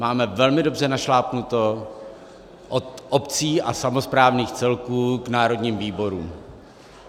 Máme velmi dobře našlápnuto od obcí a samosprávných celků k národním výborům.